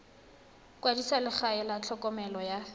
kwadisa legae la tlhokomelo ya